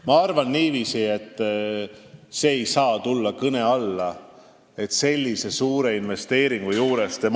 Ma arvan niiviisi, et see ei saa sellise suure investeeringu puhul kõne alla tulla.